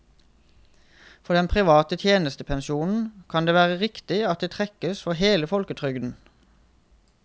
For den private tjenestepensjonen kan det være riktig at det trekkes for hele folketrygden.